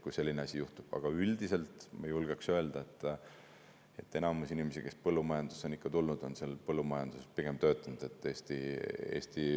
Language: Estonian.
Aga üldiselt ma julgeks öelda, et enamus inimesi, kes põllumajandusse on tulnud, on pigem põllumajanduses töötanud.